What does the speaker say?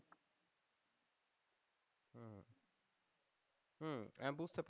হুম